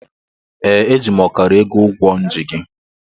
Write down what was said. Ee, eji m ọkara ego ụgwọ m ji gị.